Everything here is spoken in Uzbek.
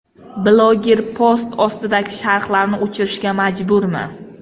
Bloger post ostidagi sharhlarni o‘chirishga majburmi?